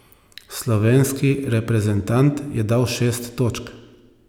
Slovenski reprezentant je dal šest točk.